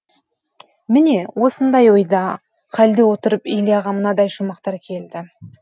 міне осындай ойда халде отырып ильяға мынадай шумақтар келді